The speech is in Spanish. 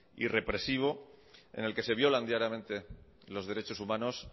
y represivo en el que se violan diariamente los derechos humanos